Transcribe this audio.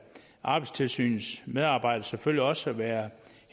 arbejdstilsynets medarbejdere selvfølgelig også være